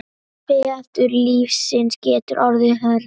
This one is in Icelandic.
Veður lífsins geta orðið hörð.